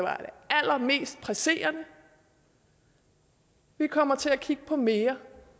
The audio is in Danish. allermest presserende vi kommer til at kigge på mere